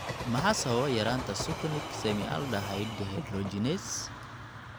Maxaa sababa yaraanta succinic semialdehyde dehydrogenase?